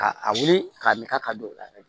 Ka a wuli k'a min ka ka don o la